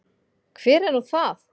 Hver er nú það?